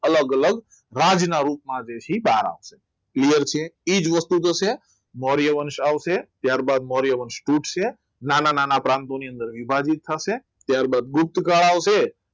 અલગ અલગ રાજના રોગમાં તારા છે clear છે એ જ વસ્તુ થશે મૌર્ય વંશ આવશે ત્યારબાદ મૌર્યવંશ તૂટશે નાના નાના પ્રાંતો ની અંદર વિભાજિત થશે ત્યારબાદ ગુપ્તકાળ આવશે